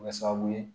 Kɛ sababu ye